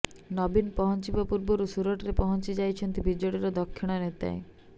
ନବୀନ ପହଞ୍ଚିବା ପୂର୍ବରୁ ସୁରଟରେ ପହଞ୍ଚି ଯାଇଛନ୍ତି ବିଜେଡିର ଦକ୍ଷିଣ ନେତାଏ